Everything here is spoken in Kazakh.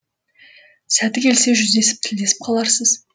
сәті келсе жүздесіп тілдесіп қаларсыз